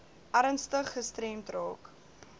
ernstig gestremd raak